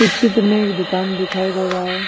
इस चित्र में एक दुकान दिखाई दे रहा है।